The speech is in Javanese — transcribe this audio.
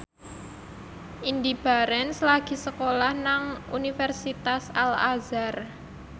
Indy Barens lagi sekolah nang Universitas Al Azhar